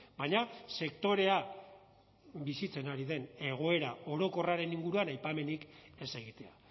baina sektorea bizitzen ari den egoera orokorraren inguruan aipamenik ez egitea